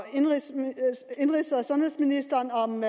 sundhedsministeren om